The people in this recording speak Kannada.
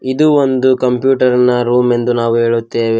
ಇದು ಒಂದು ಕಂಪ್ಯೂಟರ್ನ ರೂಮ್ ಎಂದು ನಾವು ಹೇಳುತ್ತೇವೆ.